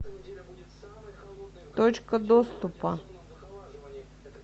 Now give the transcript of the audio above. точка доступа